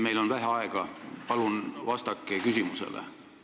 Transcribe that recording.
Meil on vähe aega, nii et palun vastake küsimusele.